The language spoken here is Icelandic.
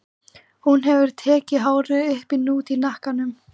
En ljósa burstaklippta hárið var dökkleitt mikinn hluta sumarsins.